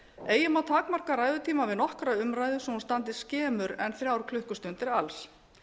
eigi má takmarka ræðutíma við nokkra umræðu svo að hún standi skemur en þrjár klukkustundir alls